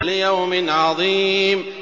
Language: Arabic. لِيَوْمٍ عَظِيمٍ